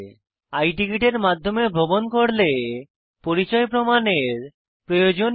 i ticket এর মাধ্যমে ভ্রমন করলে পরিচয় প্রমাণের প্রয়োজন নেই